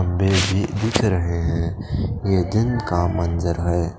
दिख रहे हैं ये दिन का मंज़र है ।